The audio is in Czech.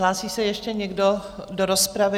Hlásí se ještě někdo do rozpravy?